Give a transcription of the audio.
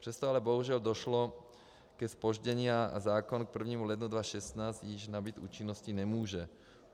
Přesto ale bohužel došlo ke zpoždění, a zákon k 1. lednu 2016 již nabýt účinnosti nemůže.